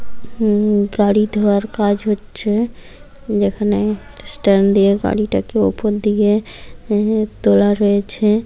উম গাড়ি ধোয়ার কাজ হচ্ছে যেখানে স্ট্যান্ড দিয়ে গাড়িটাকে উপর দিয়ে এখানে এ তোলা রয়েছে।